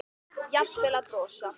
Jafnvel að brosa.